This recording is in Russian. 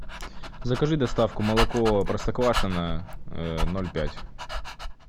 закажи доставку молоко простоквашино ноль пять